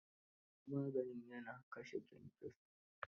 Maganin ya na kashe kyankyaso?